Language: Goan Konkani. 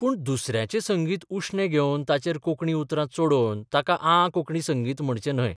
पूण दुसऱ्यांचें संगीत उश्णें घेवन ताचेर कोंकणी उतरां चडोवन ताका आ कोंकणी संगीत म्हणचें न्हय.